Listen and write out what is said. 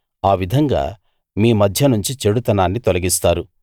ఆ విధంగా మీ మధ్యనుంచి చెడుతనాన్ని తొలగిస్తారు